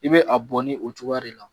I be a bɔn ni o cogoya de la.